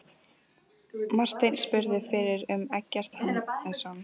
Marteinn spurðist fyrir um Eggert Hannesson.